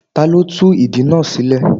Ta ló tú ìdí náà sílẹ̀.?